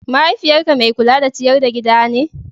Mahaifiyyarka mai kula da ciyar da gida ne?